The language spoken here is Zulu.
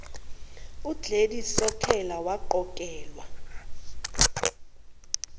ugladys sokhela waqokelwa